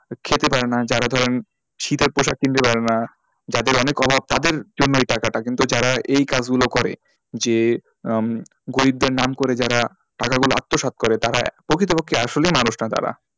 খেতে পারে না যারা ধরেন শীতের পোশাক কিনতে পারে না যাদের অনেক অভাব তাদের জন্যই এই টাকাটা কিন্তু যারা এই কাজগুলো করে যে আহ গরিবদের নাম করে যারা টাকাগুলো আত্মসাৎ করে তারা প্রকৃতপক্ষে আসলেই মানুষ না তারা।